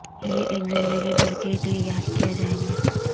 یہ ایک زندگی بھر کے لئے یاد کیا جائے گا